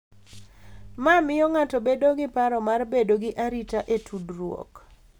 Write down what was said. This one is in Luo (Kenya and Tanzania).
Ma miyo ng’ato bedo gi paro mar bedo gi arita e tudruok.